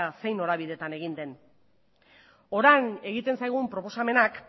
zein norabideetan egin den orain egiten zaigun proposamenak